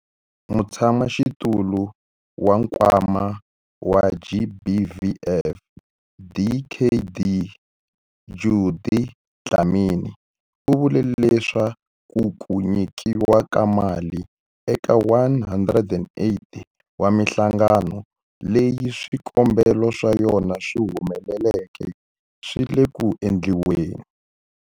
Mutshamaxitulu wa Nkwama wa GBVF, Dkd Judy Dlamini, u vule leswaku ku nyikiwa ka mali eka 108 wa mihlangano leyi swikombelo swa yona swi humeleleke swi le ku endliweni.